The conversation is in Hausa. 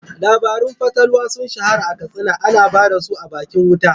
Labarun fatalwa sun shahara a Katsina, ana ba da su a bakin wuta.